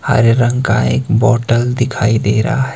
हरे रंग का एक बॉटल दिखाई दे रहा है।